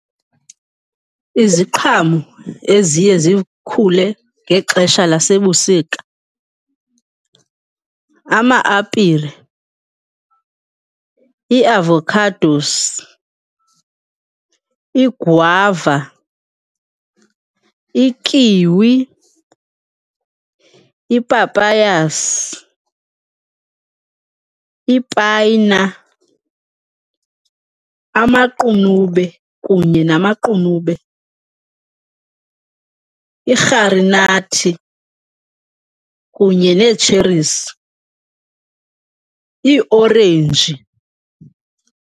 Iziqhamo eziye zikhule ngexesha lasebusika, ama-apile, ii-avocadoes, igwava, ikiwi, i-papayas, ipayina, amaqunube kunye namaqunube, irharinathi kunye nee-cheries, ii orenji.